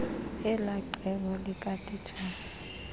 elaa cebo likatitshala